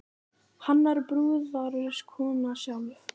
Hannar brúðarskóna sjálf